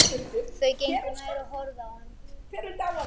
Þau gengu nær og horfðu á hann.